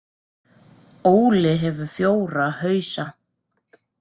Óli hefur fjóra hausa.